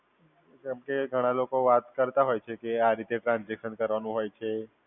જેમ કે ઘણા લોકો વાત કરતા હોય છે, કે આ રીતે ટ્રાન્સઝેકશન કરવાનું હોય છે.